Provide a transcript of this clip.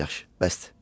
Yaxşı, yaxşı, bəsdir.